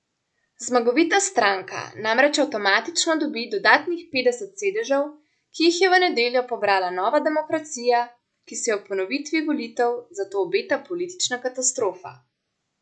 Zmagovita stranka namreč avtomatično dobi dodatnih petdeset sedežev, ki jih je v nedeljo pobrala Nova demokracija, ki se ji ob ponovitvi volitev zato obeta politična katastrofa.